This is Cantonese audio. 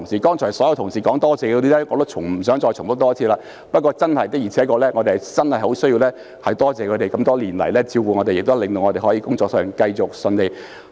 剛才所有同事說多謝的人，我也不想重複一次。不過，我們真的十分需要多謝他們這麼多年來照顧我們，令我們可以繼續順利工作。